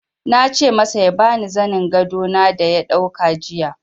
Na ce masa ya ba ni zanin gado na da ya dauka jiya.